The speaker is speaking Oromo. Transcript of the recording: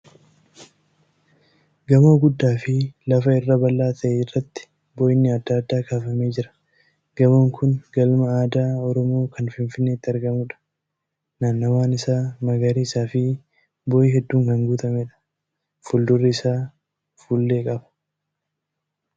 Gamoo guddaa fi lafa irra bal'aa ta'e irratti bocni adda addaa kaafamee jira. Gamoon kun galma aadaa Oromoo kan Finfinneetti argamuudha. Naannawwaan isaa magariisa fi boo'ii hedduun kan guutameedha. Fuuldurri isaa fuullee qaba.